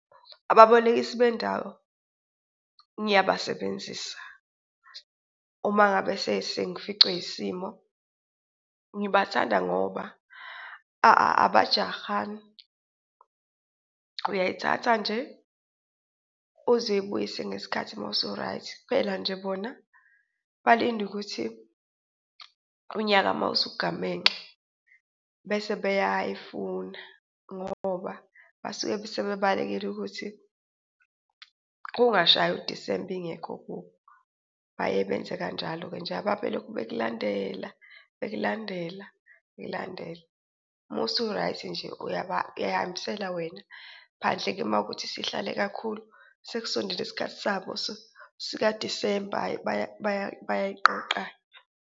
Ababolekisi bendawo ngiyabasebenzisa uma ngabe sengificwe yisimo. Ngibathanda ngoba abajahani uyayithatha nje uze uyibuyise ngesikhathi uma usu-right, kuphela nje bona balinde ukuthi unyaka uma usugamenxe bese bayayifuna ngoba basuke sebebalekela ukuthi kungashayi uDisemba ingekho kubo. Baye benze kanjalo-ke nje. Ababelokhu bekulandela, bekulandela, bekulandela uma usu-right nje uyay'hambisela wena phandle-ke uma ukuthi sihlale kakhulu sekusondele isikhathi sabo sika-December hhayi bayayiqoqa-ke.